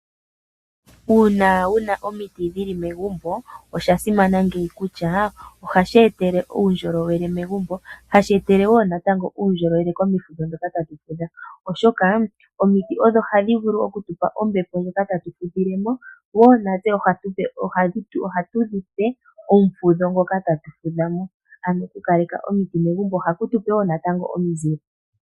Uuna wuna omiti dhili megumbo osha simana ngeyi kutya ohashi etele uundjolowele megumbo, hashi etele wo natango uundjolowele komifudho ndhoka tatu fudha oshoka omiti odho hadhi vulu okutupa ombepo ndjoka tatu fudhilemo natse wo ohatu dhipe omufudho ngoka tatu fudhamo. Ano oku kaleka omiti megumbo ohaku tupe wo natango omizile.